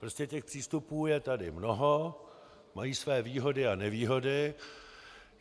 Prostě těch přístupů je tady mnoho, mají své výhody a nevýhody.